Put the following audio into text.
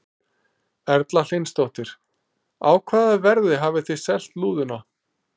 Erla Hlynsdóttir: Á hvaða verði hafið þið selt lúðuna?